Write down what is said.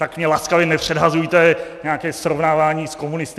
Tak mně laskavě nepředhazujte nějaké srovnávání s komunisty.